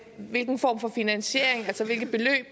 hvilken form for finansiering altså hvilke beløb